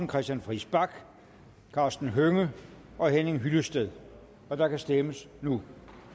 christian friis bach karsten hønge og henning hyllested og der kan stemmes nu